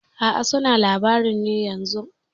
A'a suna labarin ne yanzun.